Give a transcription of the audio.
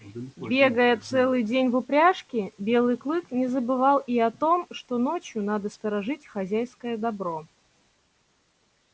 бегая целый день в упряжке белый клык не забывал и о том что ночью надо сторожить хозяйское добро